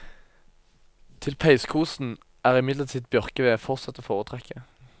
Til peiskosen er imidlertid bjørkeved fortsatt å foretrekke.